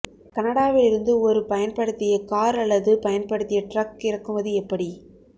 கனடாவில் இருந்து ஒரு பயன்படுத்திய கார் அல்லது பயன்படுத்திய டிரக் இறக்குமதி எப்படி